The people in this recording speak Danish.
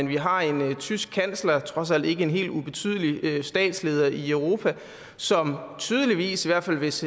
vi har en tysk kansler trods alt ikke en helt ubetydelig statsleder i europa som tydeligvis i hvert fald hvis